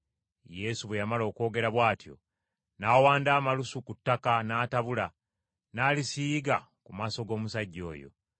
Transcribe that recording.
Yesu bwe yamala okwogera bw’atyo, n’awanda amalusu ku ttaka n’atabula, n’alisiiga ku maaso g’omusajja oyo.